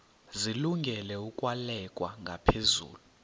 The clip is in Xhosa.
zilungele ukwalekwa ngaphezulu